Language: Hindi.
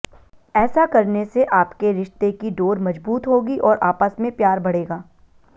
ऐसा करने से आपके रिश्ते की डोर मजबूत होगी और आपस में प्यार बढ़ेगा